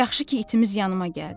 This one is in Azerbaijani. Yaxşı ki itimiz yanıma gəldi.